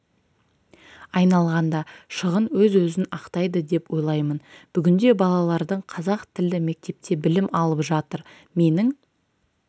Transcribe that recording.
айналғанда шығын өз-өзін ақтайды деп ойлаймын бүгінде балалардың қазақ тілді мектепте білім алып жатыр менің